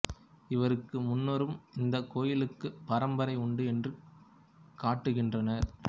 இவருக்கு முன்னரும் இந்தக் கோயிலுக்குப் பரம்பரை உண்டு என்று காட்டுகின்றனர்